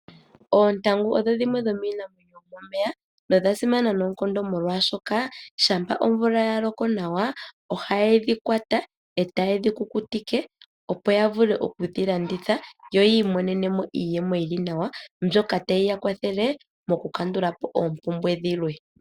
Ontangu odho dhimwe dhiinamwenyo yomomeya nodha simana noonkondo, molwashoka shampa omvula yaloko nawa ohaye dhi kwata etaye dhi kukutike opo ya vule oku dhi landitha yo yi imonene iiyemo yili nawa, mbyoka tayi ya kwathele mokukandulapo oompumbwe dhilwe.